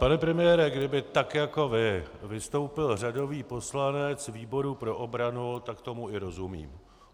Pane premiére, kdyby tak jako vy vystoupil řadový poslanec výboru pro obranu, tak tomu i rozumím.